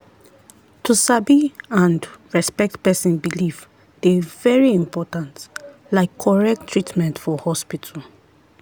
to sabi and respect person belief dey very important like correct treatment for hospital.